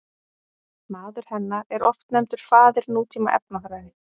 Maður hennar er oft nefndur faðir nútíma efnafræði.